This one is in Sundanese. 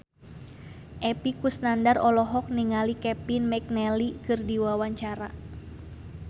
Epy Kusnandar olohok ningali Kevin McNally keur diwawancara